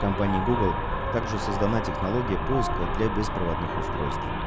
компании гугл также создана технология поиска для беспроводных устройств